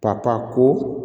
Ka taa ko